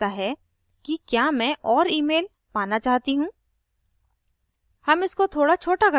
यह जानना चाहता है कि क्या मैं और emails पाना चाहती हूँ